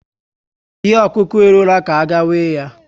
Ihe okuku eruola ka a ga-ewe ya